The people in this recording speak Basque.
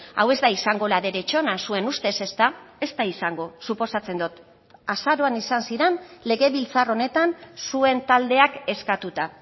hau ez da izango la derechona zuen ustez ezta ez da izango suposatzen dut azaroan izan ziren legebiltzar honetan zuen taldeak eskatuta